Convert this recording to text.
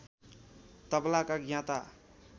तबलाका ज्ञाता